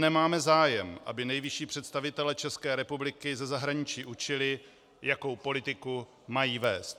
Nemáme zájem, aby nejvyšší představitele České republiky ze zahraničí učili, jakou politiku mají vést.